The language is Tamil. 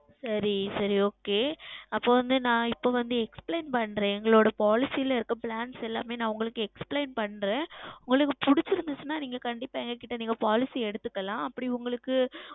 சரி சரி Okay அப்பொழுது வந்து நான் இப்பொழுது வந்து உங்களுக்கு Explain செய்கிறேன் எங்களுடைய Policy ல இருக்கிற Plan பற்றி எல்லாம் உங்களுக்கு நான் Explain செய்கிறேன் உங்களுக்கு பிடித்திருந்தால் கண்டிப்பாக எங்களிடம் நீங்கள் Policy எடுத்துக்கொள்ளலாம்